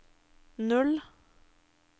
null